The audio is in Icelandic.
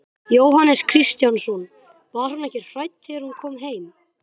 Jóhannes Kristjánsson: Var hún ekki hrædd þegar hún kom heim?